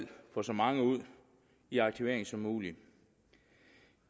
få så mange ud i aktivering som muligt